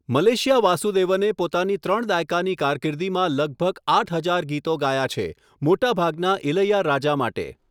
Malaysia વાસુદેવને પોતાની ત્રણ દાયકાની કારકિર્દીમાં લગભગ આઠ હજાર ગીતો ગાયા છે મોટાભાગના ઇલૈયા રાજા માટે.